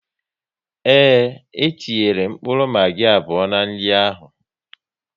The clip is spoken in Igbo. Ee etinyere mkpụrụ magi abụọ n'nri ahu